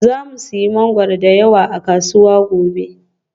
Za mu sayi mangwaro da yawa a kasuwa gobe